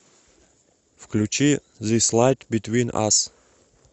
включи зис лайт битвин ас